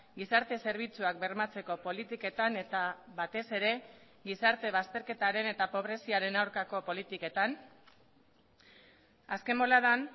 gizarte zerbitzuak bermatzeko politiketan eta batez ere gizarte bazterketaren eta pobreziaren aurkako politiketan azken boladan